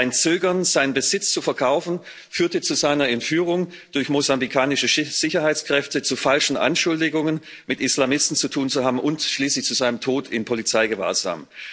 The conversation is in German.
Sein Zögern, seinen Besitz zu verkaufen, führte zu seiner Entführung durch mosambikanische Sicherheitskräfte, zu falschen Anschuldigungen, mit Islamisten zu tun zu haben, und schließlich zu seinem Tod in Polizeigewahrsam.